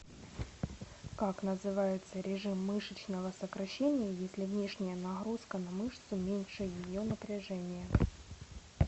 как называется режим мышечного сокращения если внешняя нагрузка на мышцу меньше ее напряжения